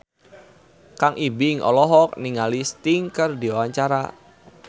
Kang Ibing olohok ningali Sting keur diwawancara